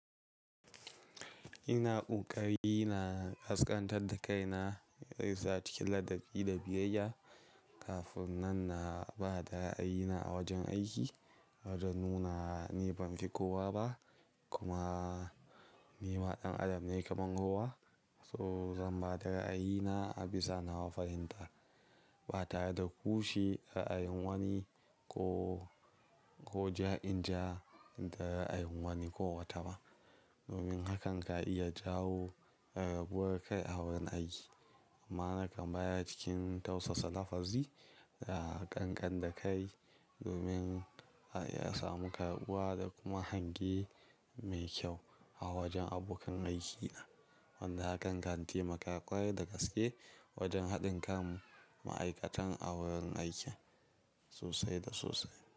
Ina ƙoƙari na ƙasƙantar da kaina, in gaisa cikin ladabi da biyayya kafin nan na ba da ra'ayi na a wajen aiki. Wajen nuna ni ban fi kowa ba kuma ni ma ɗan adam ne kamar kowa. So zan bada ra'ayina a bisa nawa fahimta ba tare da ƙushe ra'ayin wani ko, ko ja'in ja da ra'ayin wani ko wata ba. Domin hakan ka iya jawo raguwar kai a wurin aiki. Amma nakan bayar cikin tausasa lafazi da ƙanƙanta kai domin a ya samu karɓuwa da kuma hange mai kyau a wajen abokan aiki. Wanda hakan ka taimaka ƙwarai da gaske wajen haɗin kan ma'aikatan a wurin aiki sosai da sosai.